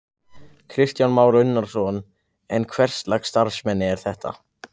Kristján Már Unnarsson: En hverslags starfsemi er þetta?